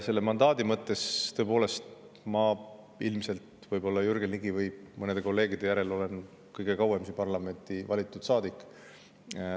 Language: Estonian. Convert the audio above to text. Selle mandaadi kohta: tõepoolest, ma ilmselt olen Jürgen Ligi või mõne teise kolleegi järel kõige kauem parlamendis olnud saadik.